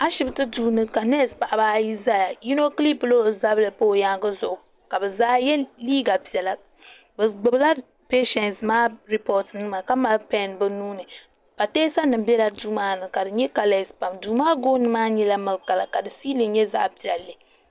Ashibiti duuni, ka news paɣaba ayi ʒaya. yinɔ kiripila ɔ zabiri n pa ɔ yaaŋgi zuɣu. ka bɛ zaa ye liiga piɛla. bɛ gbubi la peisheinsi re pot nima. bɛ nuunika mali pen bɛ nuuni. pa teesanim bela duu maani. kadi nyɛ kalee pam, duu maa gooni maa nyɛla milik kala ka di fiili nyɛ zaɣi piɛli